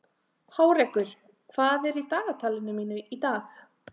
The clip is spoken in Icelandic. Hárekur, hvað er í dagatalinu mínu í dag?